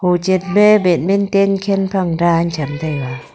ochen pa badminton khen phang dan tsham taega.